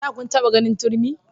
Da kun taba ganin turmi?